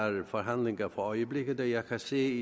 forhandlinger for øjeblikket og jeg kan se